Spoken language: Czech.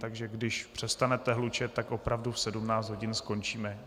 Takže když přestanete hlučet, tak opravdu v 17 hodin skončíme.